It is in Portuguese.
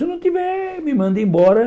Se não tiver, me manda embora.